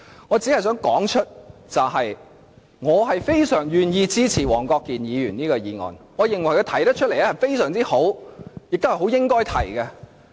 我只想指出，我非常願意支持黃國健議員的議案，認為他提出的議案非常好，亦是應該提出的。